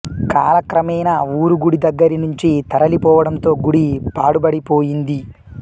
కాలక్రమేణా ఊరు గుడి దగ్గరి నుంచి తరలి పోవడంతో గుడి పాడుబడిపోయింది